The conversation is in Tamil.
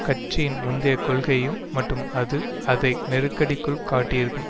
கட்சியின் முந்தைய கொள்கையையும் மற்றும் அது அதை நெருக்கடிக்குள் காட்டியிருக்கும்